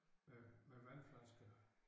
Med med vandflasker